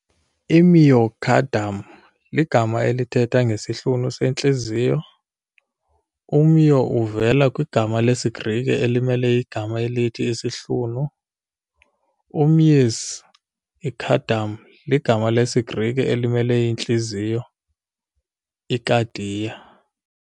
I-myocardium ligama elithetha ngesihlunu sentliziyo- u-'myo' uvela kwigama lesiGrike elimele igama elithi 'isihlunu' - u-'mys', i-cardium ligama lesiGrike elimele intliziyo - 'ikardia'.